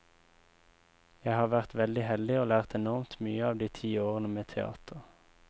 Jeg har vært veldig heldig og lært enormt mye av de ti årene med teater.